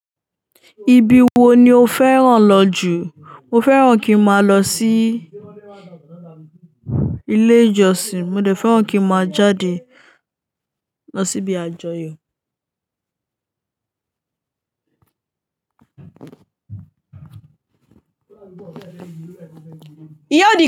Ibi wo ni o fẹ́ràn lọ jù? Mo fẹ́ràn kí n máa lọ sí ilé ìjọsìn, mo dẹ̀ fẹ́ràn kí n máa jáde lọ síbi àjọyọ̀.